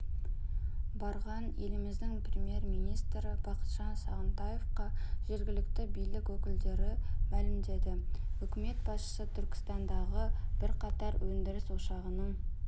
барған еліміздің премьер-министрі бақытжан сағынтаевқа жергілікті билік өкілдері мәлімдеді үкімет басшысы түркістандағы бірқатар өндіріс ошағының